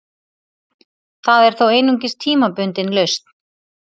Það er þó einungis tímabundin lausn